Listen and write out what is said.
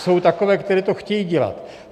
Jsou takové, které to chtějí dělat.